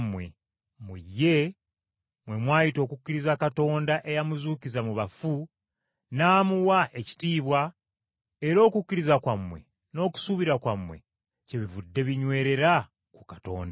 Mu ye, mwe mwayita okukkiriza Katonda eyamuzuukiza mu bafu, n’amuwa ekitiibwa, era okukkiriza kwammwe n’okusuubira kwammwe kyebivudde binywerera ku Katonda.